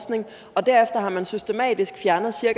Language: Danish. år